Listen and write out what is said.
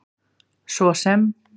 svo sem